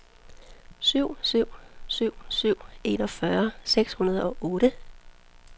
syv syv syv syv enogfyrre seks hundrede og otte